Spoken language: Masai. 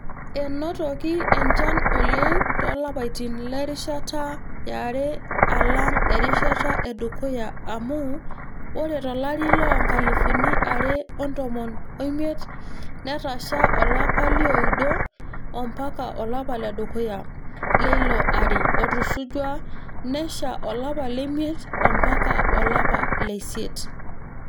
Enotiki enchan oleng toolapaitin terishata yare alang erishata edukuya amuu ore tolari loo nkalifuni are otomon omiet netasha tolapa lioudo ampaka olapa ledukuya leilo ari otusujua nesha olapa lemiet ampaka olapa leisiet.